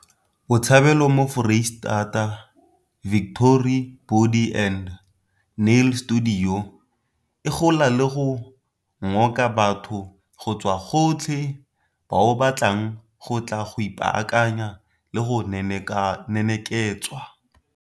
Botshabelo mo Foreisetata, Victory Body and Nail Studio, e gola le go ngoka batho go tswa gotlhe bao ba tlang go tla go ipaakanya le go neneketswa.